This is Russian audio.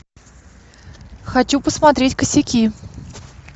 хочу посмотреть косяки